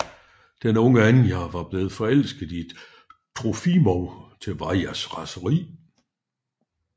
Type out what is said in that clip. Den unge Anja er blevet forelsket i Trofimov til Varjas raseri